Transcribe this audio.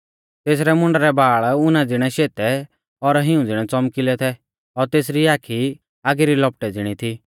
तेसरै मुंडा रै बाल़ ऊना ज़िणै शेतै और हिऊं ज़िणै च़ौमकिलै थै और तेसरी आखी आगी री लपटै ज़िणी थी